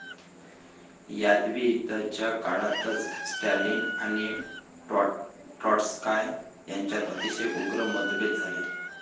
यादवी युद्धाच्या काळातच स्टॅलिन आणि ट्रॉटस्काय यांच्यात अतिशय उग्र मतभेद झाले.